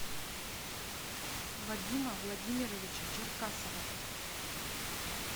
вадима владимировича черкасова